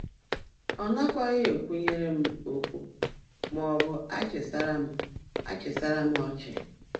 Ọ nakwaghị ekwunyere m okwu maọbụ achịsara m achịsara m ọchị.